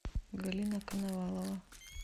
галина коновалова